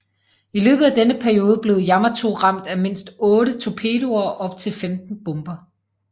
I løbet af denne periode blev Yamato ramt af mindst otte torpedoer og op til 15 bomber